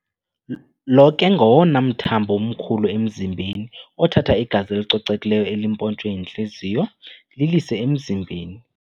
Lo ke ngowona mthambo mkhulu emzimbeni othatha igazi elicocekileyo elimpontshwe yintliziyo lilise emzimbeni.